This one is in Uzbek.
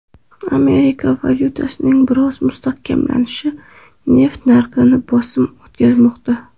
Amerika valyutasining biroz mustahkamlanishi neft narxiga bosim o‘tkazmoqda.